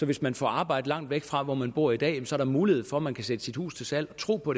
hvis man får arbejde langt væk fra hvor man bor i dag er der mulighed for at man kan sætte sit hus til salg og tro på